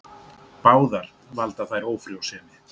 Báðar valda þær ófrjósemi.